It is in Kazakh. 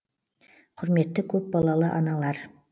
құрметті көпбалалы аналар